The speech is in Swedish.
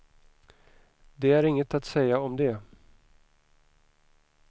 Det är inget att säga om det.